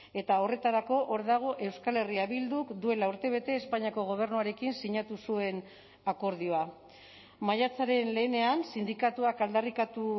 eta horretarako hor dago euskal herria bilduk duela urtebete espainiako gobernuarekin sinatu zuen akordioa maiatzaren lehenean sindikatuak aldarrikatu